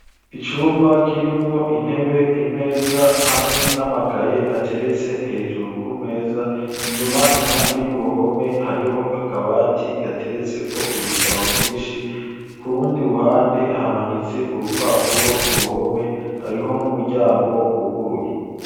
Icumba, kirimwo: intebe, imeza, hamwe n'amakaye, ateretse hejuru, ku meza; inyuma, impande y'uruhome, hariho akabati, gateretseko ibitabo vyinshi; ku rundi ruhande, hamanitse urupapuro, ku ruhome; hariho n'umuryango, wuguruye.